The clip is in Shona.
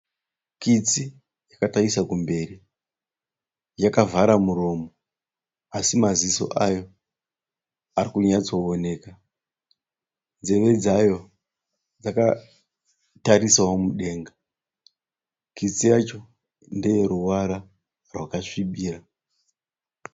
Kitsi yakatarisa kumberi yakavhara muromo asi maziso ayo arikunyasto oneka. Nzeve dzayo dzakatarisawo mudenga. Kitsi yacho ndeyeruvara rwakasvibira.